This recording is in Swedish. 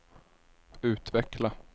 utveckla